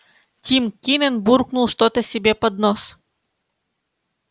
тим кинен буркнул что то себе под нос